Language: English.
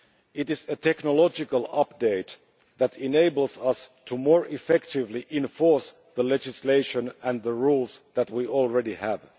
It is a technological update that enables us to more effectively enforce the legislation and rules that we already have.